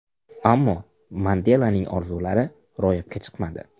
Ammo Mandelaning orzulari ro‘yobga chiqmadi.